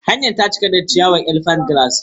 Hanyar ta cika da ciyawar Elephant grass.